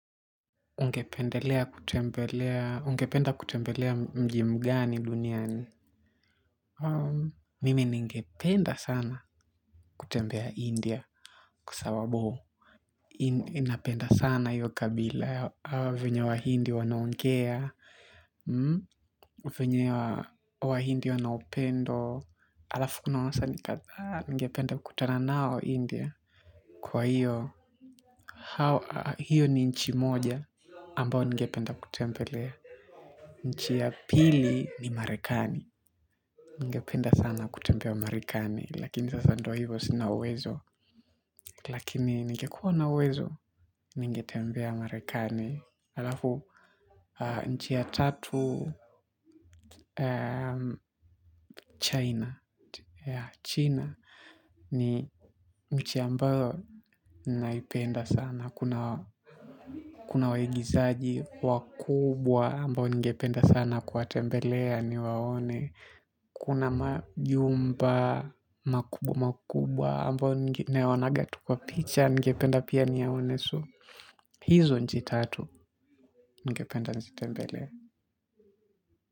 Ungependa kutembelea mjimugani duniani. Mimi ningependa sana kutembea india kwa sababu inapenda sana hiyo kabila. Hawa vinyo wa hindi wanaunkea. Vinye wa hindi wanaupendo. Alafu kuna wasanii ni katha. Ngependa kutana nao India. Kwa hiyo, hiyo ni nchi moja ambao ningependa kutembelea. Nchi ya pili ni marekani. Ningependa sana kutembea marekani. Lakini sasa ndo hivyo sina uwezo. Lakini ningekuwa nawezo. Ningetembea marekani. Nchi ya tatu China China. Ni nchi ambayo naipenda sana. Kuna waigizaji wakubwa ambayo ningependa sana kwa tembelea ni waone. Kuna majumba makubwa makubwa ambo ngeonagatu kwa picha. Ngependa pia niyaonesu. Hizo njitatu. Ngependa njizitembele.